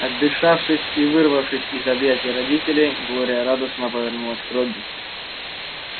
отдышавшись и вырвавшись из объятий родителей глория радостно повернулась к робби